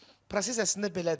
Proses əslində belədir.